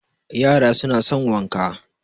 yara suna son wanka